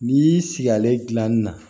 N'i y'i sigi ale dilan na